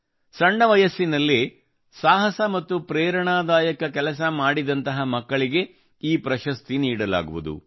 ಸಣ್ಣ ವಯಸ್ಸಿನಲ್ಲೇ ಸಾಹಸ ಮತ್ತು ಪ್ರೇರಣಾದಾಯಕ ಕೆಲಸ ಮಾಡಿದಂತಹ ಮಕ್ಕಳಿಗೆ ಈ ಪ್ರಶಸ್ತಿ ನೀಡಲಾಗುವುದು